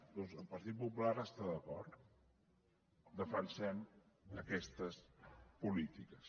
doncs el partit popular hi està d’acord defensem aquestes polítiques